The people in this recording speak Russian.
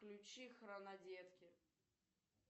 включи хронодетки